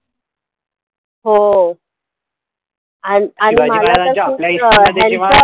हो आण आणि मला कसं ह्यांच